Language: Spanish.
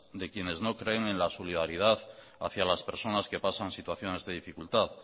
de quienes no creen en la solidaridad hacia las personas que pasan situaciones de dificultad